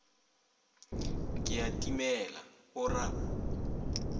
ke a timela o ra